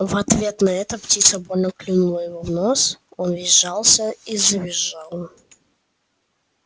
в ответ на это птица больно клюнула его в нос он весь сжался и завизжал